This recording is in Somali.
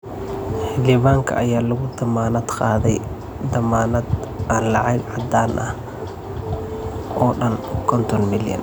Xildhibaanka ayaa lagu dammaanad qaaday dammaanad aan lacag caddaan ah oo dhan konton milyan.